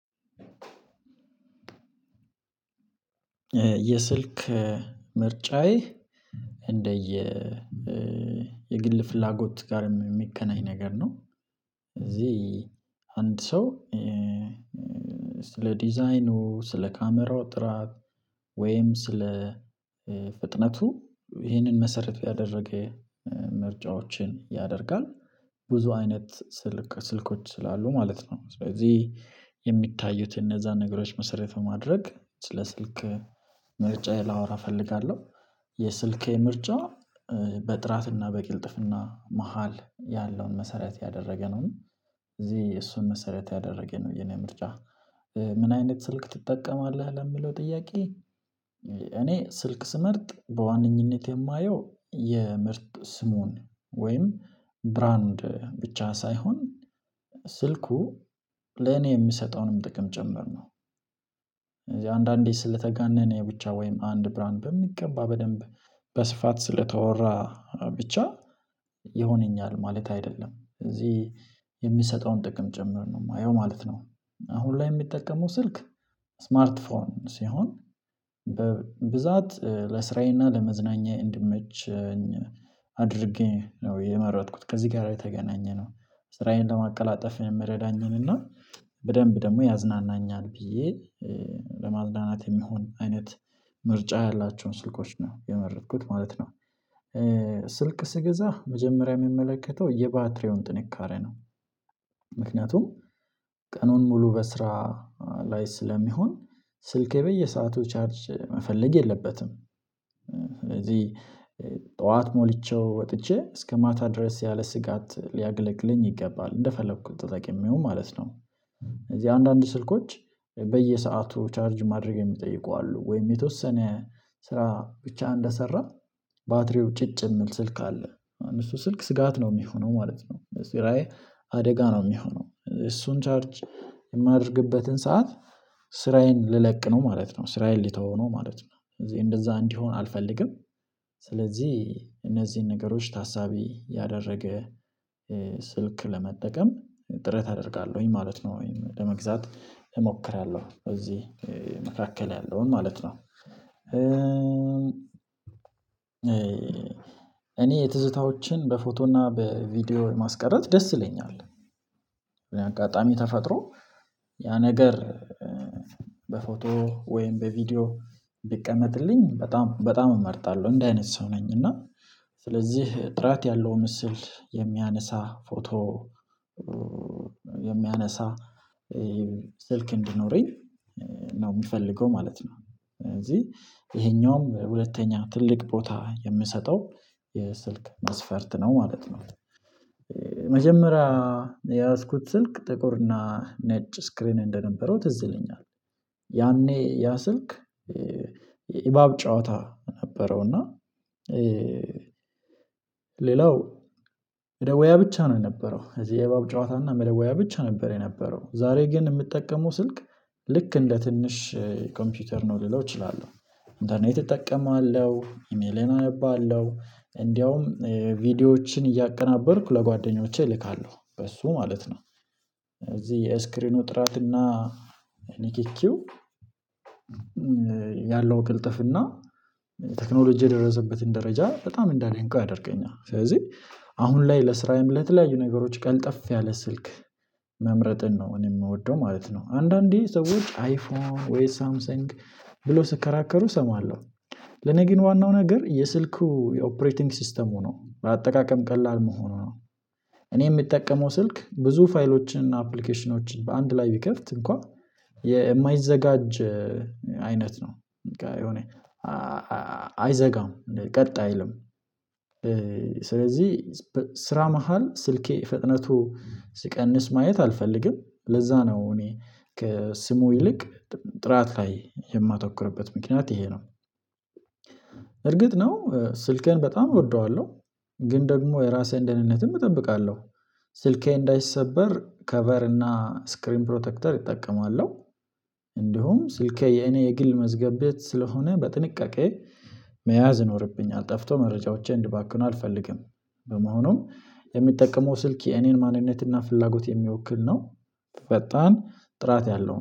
የስልክ ምርጫዬ እንደየ የግል ፍላጎት ጋርም የሚከናይ ነገር ነው። እዚህ አንድ ሰው ስለ ዲዛይኑ ስለ ካሜራው ጥራት ወይም ስለ ፍጥነቱ ይህንን መሰረት ያደረገ ምርጫዎችን ያደርጋል ብዙ አይነት ስልክ ስልኮች ስላሉ ማለት ነው ስለዚህ የሚታዩት እነዛን ነገሮች መሰረት በማድረግ ስለ ስልክ ምርጫዬን ላወራ እፈልጋለሁ። የስልኬ ምርጫ በጥራትና በቅልጥፍና መሃል ያለውን መሰረት ያደረገ ነው እዚህ የእሱን መሰረት ያደረገ ነው የኔ ምርጫ። ምን አይነት ስልክ ትጠቀማለህ ለምለው ጥያቄ? እኔ ስልክ ስመርጥ በዋነኝነት የማየው የምርጥ ስሙን ወይም ብራንድ ብቻ ሳይሆን ስልኩ ለኔ የምሰጠውንም ጥቅም ጨመርነው እዚህ አንዳንዴ ስለተጋነነ የብቻ ወይም አንድ ብርሃን በሚገባ በደንብ በስፋት ስለተወራ ብቻ ይሆነኛል ማለት አይደለም እዚህ የሚሰጠውን ጥቅም ጭምር ነው የማየው ማለት ነው። አሁን ላይ የሚጠቀመው ስልክ ስማርት ፎን ሲሆን በብዛት ለስራዬና ለመዝናኛዬ እንድመች አድርጌ ነው የመረጥኩት ከዚህ ጋር የተገናኘ ነው ስራዬን ለማቀላጠፍ የምረዳኝን እና በደንብ ደግሞ ያዝናናኛል ብዬ ለማዝናናት የሚሆን አይነት ምርጫ ያላቸውን ስልኮች ነው የመረጥኩት ማለት ነው። ስልክ ስገዛ መጀመሪያ የሚመለከተው የባትሪውን ጥንካሬ ነው ምክንያቱም ቀኑን ሙሉ በስራ ላይ ስለሚሆን ስልኬ በየሰአቱ ቻርጅ መፈለግ የለበትም። ስለዚህ ጠዋት ሞልቼው ወጥቼ እስከ ማታ ድረስ ያለ ስጋት ሊያገለግለኝ ይገባል እንደፈለኩት ተጠቂሚው ማለት ነው። እዚህ አንዳንድ ስልኮች በየሰአቱ ቻርጅ ማድረግ የሚጠይቁ አሉ ወይም የተወሰነ ስራ ብቻ እንደሰራ ባትሪው ጭጭ የሚል ስልክ አለ እሱ ስልክ ስጋት ነው የሚሆነው ማለት ነው ለስራዬ አደጋ ነው የሚሆነው እሱን ቻርጅ የማደርግበትን ሰዓት ስራዬን ልለቅ ነው ማለት ነው ስራዬን ሊተው ነው ማለት ነው ስለዚህ እንደዛ እንዲሆን አልፈልግም። ስለዚህ እነዚህን ነገሮች ታሳቢ ያደረገ ስልክ ለመጠቀም ጥረት አደርጋለሁኝ ማለት ነው ወይም ለመግዛት እሞክራለሁ እዚህ መካከል ያለውን ማለት ነው። እኔ የትዝታዎችን በፎቶና በቪዲዮ ማስቀረት ደስ ይለኛል አጋጣሚ ተፈጥሮ ያ ነገር በፎቶ ወይም በቪዲዮ ቢቀመጥልኝ በጣም በጣም እመርጣለሁ እንደዚህ አይነት ሰው ነኝ። እና ስለዚህ ጥራት ያለው ምስል የሚያነሳ ፎቶ የሚያነሳ ስልክ እንዲኖረኝ ነው የሚፈልገው ማለት ነው ስለዚህ ይሄኛውም ሁለተኛ ትልቅ ቦታ የምሰጠው የስልክ ማስፈርት ነው ማለት ነው። መጀመሪያ የያዝኩት ስልክ ጥቁርና ነጭ ስክሪን እንደነበረው ትዝ ይለኛል ያኔ ያ ስልክ ኢባብ ጨዋታ ነበረው እና ሌላው መደዌያ ብቻ ነው የነበረው እዚህ የእባብ ጨዋታ እና መደወያ ብቻ ነበር የነበረው ዛሬ ግን የምጠቀመው ስልክ ልክ እንደ ትንሽ ኮምፒውተር ነው ልለው እችላለሁ ኢንተርኔት እጠቀማለሁ ኢሜሌን አነባለሁ እንደውም ቪዲዮዎችን እያቀናበርኩ ለጓደኞቼ እልካለሁ በሱ ማለት ነው። እዚህ የስክሪኑ ጥራትና ኒኪኪው ያለው ቅልጥፍና ቴክኖሎጂ የደረሰበትን ደረጃ በጣም እንዳደንቆ ያደርገኛል ስለዚህ አሁን ላይ ለስራዬም ለተለያዩ ነገሮች ቀልጠፍ ያለ ስልክ መምረጥን ነው እኔ የምወደው ማለት ነው። አንዳንዴ ሰዎች አይፎን ወይ ሳምሰንግ ብሎ ስከራከሩ እሰማለሁ ለኔ ግን ዋናው ነገር የስልኩ የኦፕሬቲንግ ሲስተሙ ነው ለአጠቃቀም ቀላል መሆኑ ነው። እኔ የምጠቀመው ስልክ ብዙ ፋይሎችን አፕሊኬሽኖችን በአንድ ላይ ቢከፍት እንኳን የማይዘጋጅ አይነት ነው የሆነ አይዘጋም ቀጣይ አይልም ስለዚህ ስራ መሃል ስልኬ ፍጥነቱ ስቀንስ ማየት አልፈልግም ለዛ ነው እኔ ከስሙ ይልቅ ጥራት ላይ የማተኮርበት ምክንያት ይሄ ነው። እርግጥ ነው ስልኬን በጣም እወደዋለሁ። ግን ደግሞ የራሴን ደህንነትም እጠብቃለሁ ስልኬ እንዳይሰበር ከቨር እና ስክሪን ፕሮቴክተር እጠቀማለሁ እንዲሁም ስልኬ የኔ የግል መዝገብ ቤት ስለሆነ በጥንቃቄ መያዝ ይኖርብኛል ጠፍቶ መረጃዎቼ እንድባክን አልፈልግም። በመሆኑም የሚጠቀመው ስልክ የኔን ማንነትና ፍላጎት የሚወክል ነው። ፈጣን ጥራት ያለው